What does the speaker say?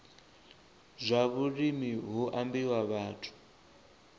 zwa vhulimi hu ambiwa vhathu